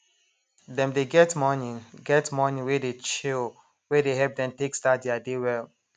dem dey get morning get morning wey dey chill wey dey help dem take start thier day well